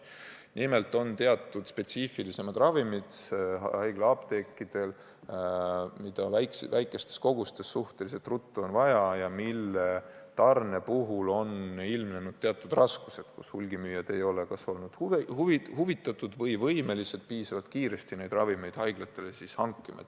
Nimelt vajavad haiglaapteegid teatud spetsiifilisemaid ravimeid, mida on väikestes kogustes suhteliselt ruttu vaja ja mille tarnimisel võivad olla ilmnenud teatud raskused, sest hulgimüüjad ei ole kas olnud huvitatud või võimelised piisavalt kiiresti neid ravimeid haiglatele hankima.